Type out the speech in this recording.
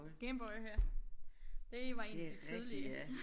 Game Boy ja det var en af de tidlige